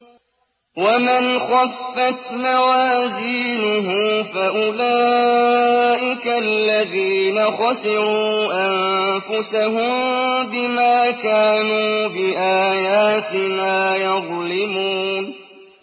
وَمَنْ خَفَّتْ مَوَازِينُهُ فَأُولَٰئِكَ الَّذِينَ خَسِرُوا أَنفُسَهُم بِمَا كَانُوا بِآيَاتِنَا يَظْلِمُونَ